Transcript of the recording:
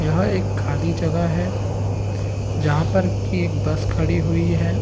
यह एक खाली जगह है जहाँ पर की एक बस खड़ी हुई है।